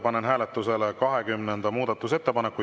Panen hääletusele 20. muudatusettepaneku.